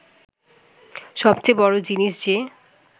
সবচেয়ে বড় জিনিস যে